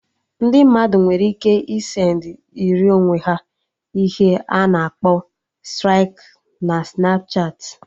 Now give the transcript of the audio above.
Ndị mmadụ nwere ike ị send ịrị onwe ha ihe a na-akpọ striki na Snapchatị